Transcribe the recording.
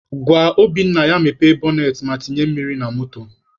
Gwa Obinna ya mepee bọnet ma tinye mmiri na moto